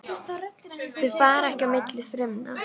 Þau fara ekki á milli frumna.